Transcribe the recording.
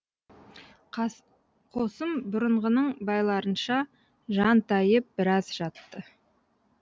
қосым бұрынғының байларынша жантайып біраз жатты